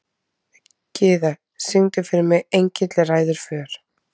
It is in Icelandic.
Gyða, syngdu fyrir mig „Engill ræður för“.